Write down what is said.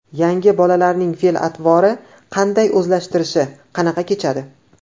Yangi bolalarning fe’l-atvori qanday, o‘zlashtirishi qanaqa kechadi?